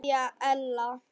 Kveðja Ella.